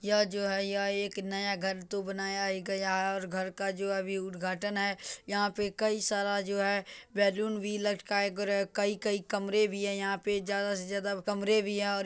यह जो है यह एक नया घर तो बनाया ही गया है और घर का जो अभी उद्घाटन है यहाँ पे कई सारा जो है बैलून भी लटकाया गेर कई-कई कमरे भी हैं यहाँ पे ज्यादा से ज्यादा कमरे भी हैं और --